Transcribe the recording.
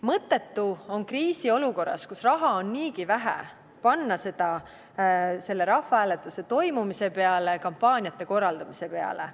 Mõttetu on kriisiolukorras, kus raha on niigi vähe, panna seda selle rahvahääletuse toimumise peale, kampaaniate korraldamise peale.